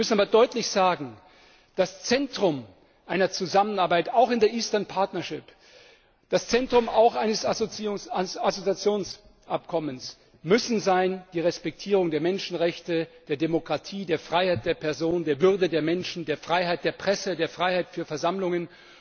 Wir müssen aber deutlich sagen, das Zentrum einer Zusammenarbeit, auch in der Eastern Partnership das Zentrum eines Assoziierungsabkommens müssen sein die Respektierung der Menschenrechte, der Demokratie, der Freiheit der Person, der Würde des Menschen, der Freiheit der Presse, der Freiheit für Versammlungen.